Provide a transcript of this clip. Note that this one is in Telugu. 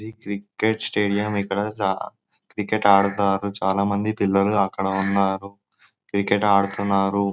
ఇది క్రికెట్ స్టేడియం ఇక్కడ క్రికెట్ ఆడుతారు చాల మంది పిల్లలు అక్కడ ఉన్నారు క్రికెట్ ఆడుతున్నారు.